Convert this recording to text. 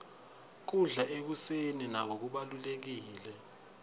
kudla ekuseni nako kubalulekile